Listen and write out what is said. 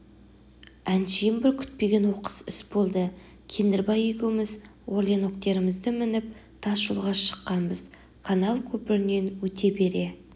әншейін бір күтпеген оқыс іс болды кендірбай екеуіміз орленоктеріміздімініп тас жолға шыққанбыз канал көпірінен өте бере